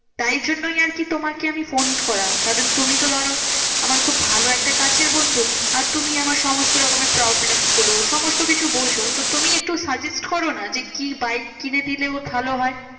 তাই জন্যই আরকি তোমাকে আমি ফোন করা। কারণ তুমি তো ধরো আমার খুব ভালো একটা কাছের বন্ধু। আর তুমি আমার সমস্ত রকমের problem গুলো সমস্ত কিছু বোঝো। তো তুমি একটু suggest করো না? যে কি বাইক কিনে দিলে ওর ভালো হয়?